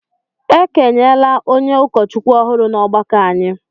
E kenyela onye ụkọchukwu ọhụrụ n’ọgbakọ anyị